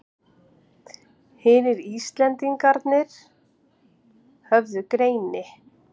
Hinir Íslendingarnir höfðu greini